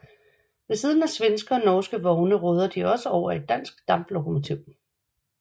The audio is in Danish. Ved siden af svenske og norske vogne råder de også over et dansk damplokomotiv